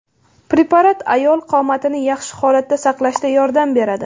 Preparat ayol qomatini yaxshi holatda saqlashda yordam beradi.